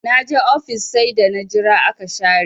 Da na je ofis sai da na jira aka share